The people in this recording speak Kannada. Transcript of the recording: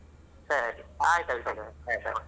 ಸರಿ ಆಯ್ತ್ ಅಭಿಷೇಕ bye.